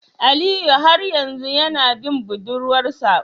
Aliyu har yanzu yana bin budurwar sa?